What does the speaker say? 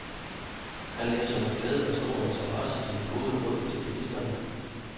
Han læser med glæde og stor interesse dine gode råd til bilisterne.